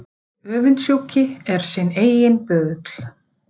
Hinn öfundsjúki er sinn eiginn böðull.